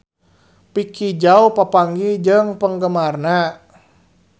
Vicki Zao papanggih jeung penggemarna